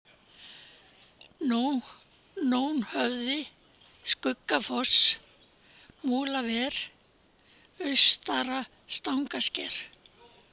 Nónhöfði, Skuggafoss, Múlaver, Austara-Stangasker